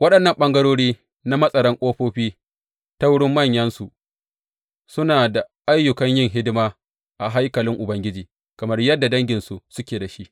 Waɗannan ɓangarori na matsaran ƙofofi, ta wurin manyansu, suna da ayyukan yin hidima a haikalin Ubangiji, kamar yadda danginsu suke da shi.